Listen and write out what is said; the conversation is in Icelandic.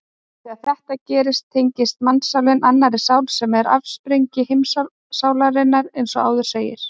Þegar þetta gerist tengist mannssálin annarri sál sem er afsprengi heimssálarinnar eins og áður segir.